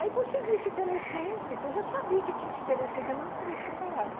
Aí consegui esse telecentro, eu já sabia que tinha esse telecentro, mas não sabia que não pagava.